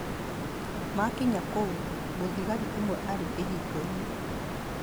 Maakinya kou, mũthigari ũmwe aarĩ kĩhingo-inĩ.